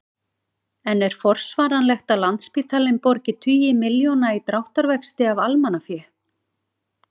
En er forsvaranlegt að Landspítalinn borgi tugi milljóna í dráttarvexti af almannafé?